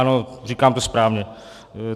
Ano, říkám to správně.